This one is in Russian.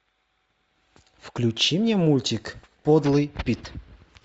включи мне мультик подлый пит